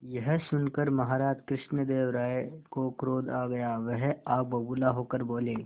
यह सुनकर महाराज कृष्णदेव राय को क्रोध आ गया वह आग बबूला होकर बोले